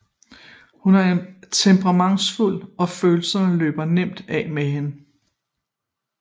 Hun er temperamentsfuld og følelserne løber nemt af med hende